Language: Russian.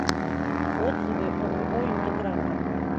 отзывы ооо интегратор